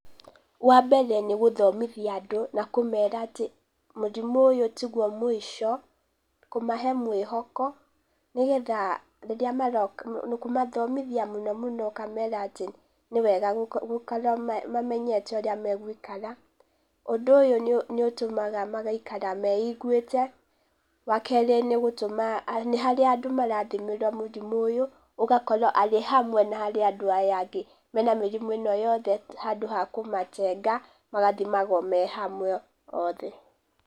Wa mbere nĩ gũthomithia andũ na kũmera atĩ mũrimũ ũyũ tiguo mũico, kũmahe mwĩhoko nĩ getha rĩrĩa maroka kũmathomithia mũno mũno ũkamera atĩ nĩ wega gũkorwo mamenyete ũrĩa megũikara, Ũndũ ũyũ nĩ ũtũmaga magaikara meiguĩte, wa kerĩ nĩ gũtũma harĩa andũ marathimĩrwo mũrimũ ũyũ, ũgakorwo arĩ hamwe na harĩ andũ aya angĩ mena mĩrimũ ĩno yothe, handũ wa kũmatenga, magathimagwo me hamwe othe.